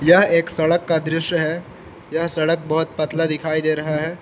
यह एक सड़क का दृश्य है यह सड़क बहोत पतला दिखाई दे रहा है।